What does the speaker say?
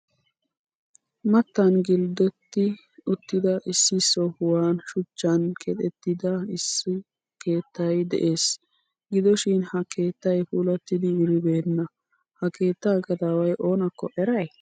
Maatan gldoodetti uttida issi sohuwan shuchchan keexxetida isso keettay de'ees. Gidoshin ha keettay puulatidi wuribeena. Ha keettaa gadaway oonakko eray?